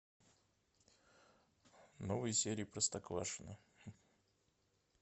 новые серии простоквашино